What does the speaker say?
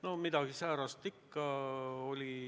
No midagi säärast ikka oli.